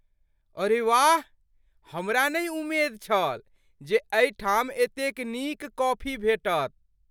अरे वाह! हमरा नहि उमेद छल जे एहिठाम एतेक नीक कॉफी भेटत।